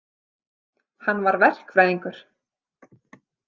Hann var verkfræðingur.